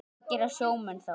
Hvað gera sjómenn þá?